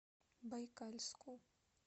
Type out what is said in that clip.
байкальску